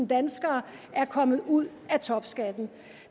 danskere er kommet ud af topskatten